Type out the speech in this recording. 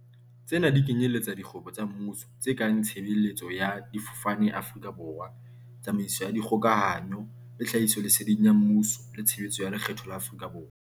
Tsena di kenyeletsa dikgwebo tsa mmuso tse kang Tshe beletso ya Difofane ya Afrika Borwa, Tsamaiso ya Dikgoka hanyo le Tlhahisoleseding ya Mmuso le Tshebeletso ya Lekgetho ya Afrika Borwa.